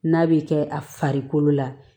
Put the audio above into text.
N'a bɛ kɛ a farikolo la